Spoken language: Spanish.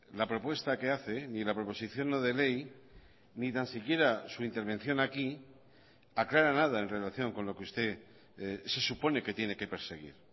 la propuesta que hace ni la proposición no de ley ni tan siquiera su intervención aquí aclara nada en relación con lo que usted se supone que tiene que perseguir